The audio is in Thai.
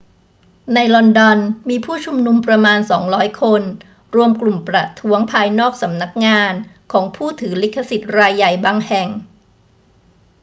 ในลอนดอน มีผู้ชุมนุมประมาณ 200 คนรวมกลุ่มประท้วงภายนอกสำนักงานของผู้ถือลิขสิทธิ์รายใหญ่บางแห่ง